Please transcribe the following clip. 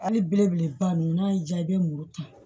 Hali belebeleba ninnu n'a y'i diya i bɛ muru ta